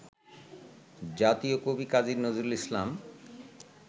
জাতীয় কবি কাজী নজরুল ইসলাম